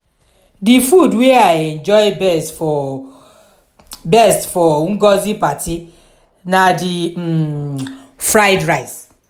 the food wey i enjoy best for best for ngozi party na the um fried rice